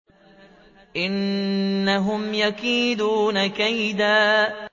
إِنَّهُمْ يَكِيدُونَ كَيْدًا